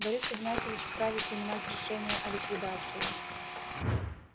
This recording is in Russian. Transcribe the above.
борис игнатьевич вправе принимать решения о ликвидации